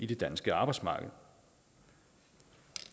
det danske arbejdsmarked